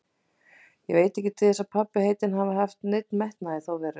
Ég veit ekki til þess að pabbi heitinn hafi haft neinn metnað í þá veru.